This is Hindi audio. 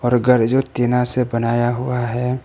और घर जो टीना से बनाया हुआ है।